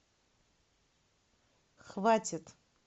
хватит